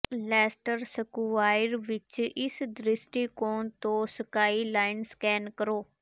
Leicester Square ਵਿੱਚ ਇਸ ਦ੍ਰਿਸ਼ਟੀਕੋਣ ਤੋਂ ਸਕਾਈਂਲਾਈਨ ਸਕੈਨ ਕਰੋ